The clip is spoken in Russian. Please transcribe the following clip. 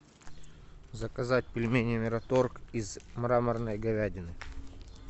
заказать пельмени мираторг из мраморной говядины